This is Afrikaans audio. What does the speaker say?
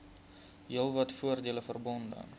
heelwat voordele verbonde